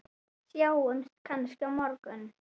Sjáumst kannski á morgun!